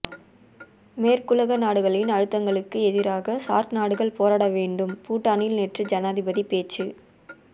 மேற்குலக நாடுகளின் அழுத்தங்களுக்கு எதிராக சார்க் நாடுகள் போராட வேண்டும் பூட்டானில் நேற்று ஜனாதிபதி பேச்சு